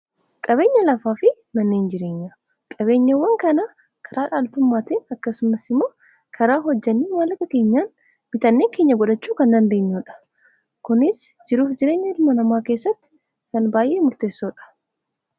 qabeenya lafaa fi manneehin jireenya qabeenyawwan kana karaa dhaaltummaatiin akkasumas imoo karaa hojjannii maallaqa keenyaan bitannee keenya godhachuu kan dandeenyuudha .kunis jiruuf jireenya ilma namaa keessatti kan baay'ee murteessoodha.